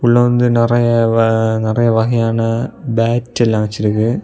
இதுல வந்து நெறைய வ நெறைய வகையான பேட் எல்லாம் வெச்சிருக்கு.